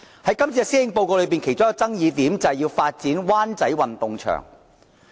在這份施政報告中的其中一個爭議點，便是要發展灣仔運動場。